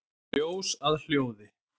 Ljós að hljóði?